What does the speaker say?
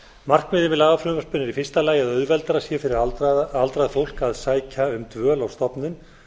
markmiðið með lagafrumvarpinu er í fyrsta lagi að auðveldara sé fyrir aldrað fólk að sækja um dvöl á stofnun